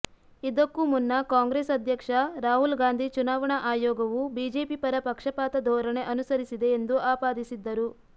ಇದಕ್ಕೂ ಮುನ್ನ ಕಾಂಗ್ರೆಸ್ ಅಧ್ಯಕ್ಷ ರಾಹುಲ್ ಗಾಂಧಿ ಚುನಾವಣಾ ಆಯೋಗವು ಬಿಜೆಪಿ ಪರ ಪಕ್ಷಪಾತ ಧೋರಣೆ ಅನುಸರಿಸಿದೆ ಎಂದು ಆಪಾದಿಸಿದ್ದರು